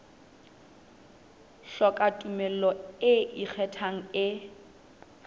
hloka tumello e ikgethang e